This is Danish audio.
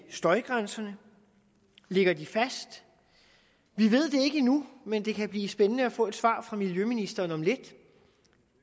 støjgrænserne ligger de fast vi ved det ikke endnu men det kan blive spændende at få et svar fra miljøministeren om lidt